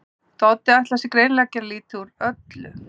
Doddi ætlar sér greinilega að gera lítið úr öllu.